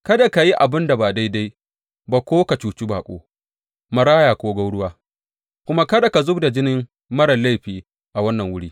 Kada ka yi abin da ba daidai ba ko ka cuci baƙo, maraya ko gwauruwa, kuma kada ka zub da jini marar laifi a wannan wuri.